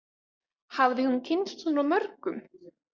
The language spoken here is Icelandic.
Hafði hún kynnst svona mörgum?